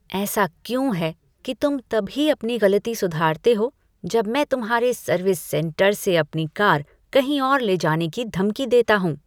ऐसा क्यों है कि तुम तभी अपनी गलती सुधारते हो जब मैं तुम्हारे सर्विस सेंटर से अपनी कार कहीं और ले जाने की धमकी देता हूँ?